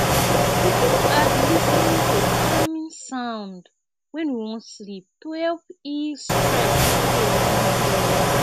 we fit add lis ten ing to calming sound when we wan sleep to help ease stress after a long day